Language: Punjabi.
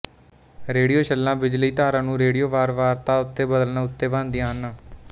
ਰੇਡੀਓ ਛੱਲਾਂ ਬਿਜਲਈ ਧਾਰਾ ਨੂੰ ਰੇਡੀਓ ਵਾਰਵਾਰਤਾ ਉੱਤੇ ਬਦਲਣ ਉੱਤੇ ਬਣਦੀਆਂ ਹਨ